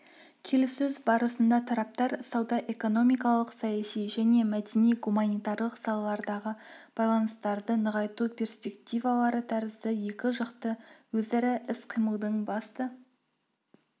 келіссөз барысында тараптар сауда-экономикалық саяси және мәдени-гуманитарлық салалардағы байланыстарды нығайту перспективалары тәрізді екіжақты өзара іс-қимылдың басты